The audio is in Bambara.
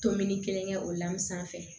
Tominni kelen kɛ o la sanfɛ